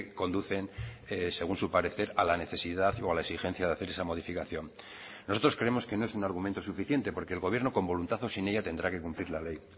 conducen según su parecer a la necesidad o a la exigencia de hacer esa modificación nosotros creemos que no es un argumento suficiente porque el gobierno con voluntad o sin ella tendrá que cumplir la ley